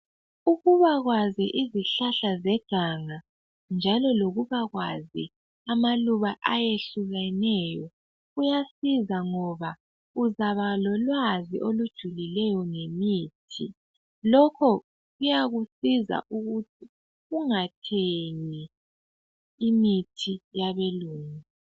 Ukubakwazi izihlahla zeganga njalo lokubakwazi amaluba ayehlukeneyo kuyasiza ngoba uzaba lolwazi olujulileyo ngemithi lokho kuyakusiza ukuthi ungathengi imithi yabelungu.